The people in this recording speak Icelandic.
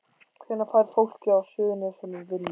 Hvenær fær fólk á Suðurnesjum vinnu?